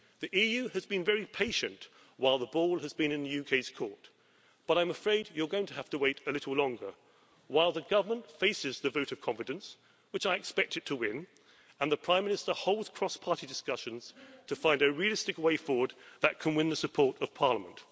The EU has been very patient while the ball has been in UK's court, but I'm afraid you're going to have to wait a little longer while the government faces the vote of confidence, which I expect it to win, and the Prime Minister holds cross party discussions to find a realistic way forward that can win the support of Parliament.